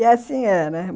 E assim é, né?